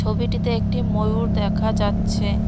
ছবিটিতে একটি ময়ূর দেখা যাচ্ছে।